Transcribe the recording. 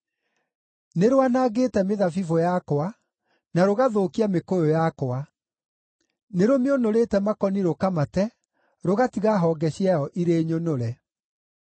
Nĩ rwanangĩte mĩthabibũ yakwa, na rũgathũkia mĩkũyũ yakwa. Nĩrũmĩũnũrĩte makoni rũkamate, rũgatiga honge ciayo irĩ nyũnũre.